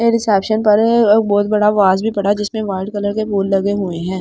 Reception पर बहुत बड़ा वाज भी पड़ा जिसमें वाइट कलर के फूल लगे हुए हैं।